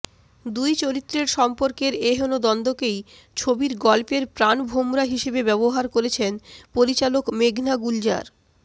দুই চরিত্রের সম্পর্কের এহেন দ্বন্দ্বকেই ছবির গল্পের প্রাণভোমরা হিসেবে ব্যবহার করেছেন পরিচালক মেঘনা গুলজার